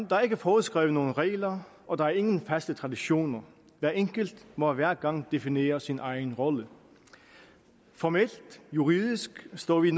der er ikke foreskrevet nogen regler og der er ingen faste traditioner hver enkelt må hver gang definere sin egen rolle formelt juridisk står vi